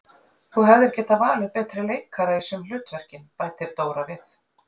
Þú hefðir getað valið betri leikara í sum hlutverkin, bætir Dóra við.